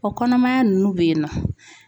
O kɔnɔmaya ninnu be yen nɔ.